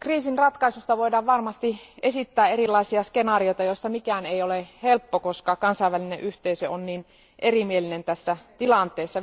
kriisin ratkaisusta voidaan varmasti esittää erilaisia skenaarioita, joista mikään ei ole helppo, koska kansainvälinen yhteisö on niin erimielinen tässä tilanteessa.